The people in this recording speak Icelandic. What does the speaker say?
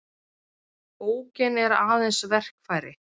Bókin er aðeins verkfæri.